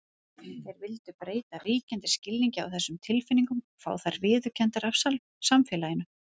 Þeir vildu breyta ríkjandi skilningi á þessum tilfinningum og fá þær viðurkenndar af samfélaginu.